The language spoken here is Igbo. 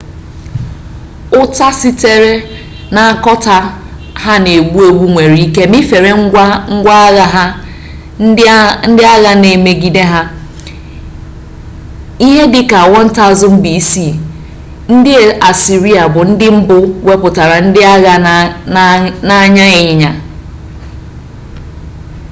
uta site na akota ha n'egbu-egbu nwere-ike mifere ngwa-agha ndi agha ndi na emigede ha ihe dika 1000 b.c. ndi assyria bu ndi mbu weputara ndi agha n'anya inyanya